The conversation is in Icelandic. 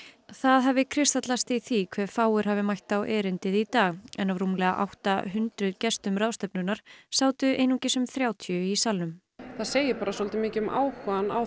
það hafi kristallast í því hve fáir hafi mætt á erindið í dag en af rúmlega átta hundruð gestum ráðstefnunnar sátu einungis um þrjátíu í salnum það segir bara svolítið mikið um áhugann á